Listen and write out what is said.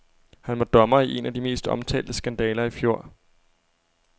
Han var dommer i en af de mest omtalte skandaler i fjor.